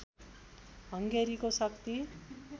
हँगेरीको शक्ति